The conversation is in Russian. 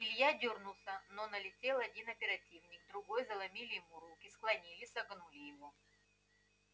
илья дёрнулся но налетел один оперативник другой заломили ему руки склонили согнули его